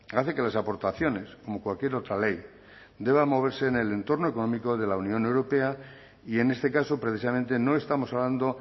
hace que las aportaciones como cualquier otra ley deban moverse en el entorno económico de la unión europea y en este caso precisamente no estamos hablando